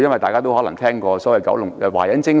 大家都可能聽過所謂"華仁精神"。